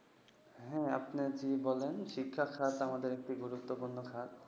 হ্যাঁ, জি আপনি বলেন। শিক্ষাখাত আমাদের একটি গুরুত্বপূর্ন খাত।